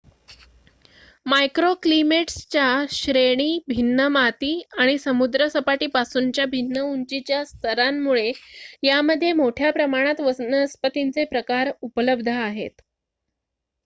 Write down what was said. मायक्रोक्लीमेट्सच्या श्रेणी भिन्न माती आणि समुद्रसपाटीपासूनच्या भिन्न उंचीच्या स्तरांमुळे यामध्ये मोठ्या प्रमाणात वनस्पतींचे प्रकार उपलब्ध आहेत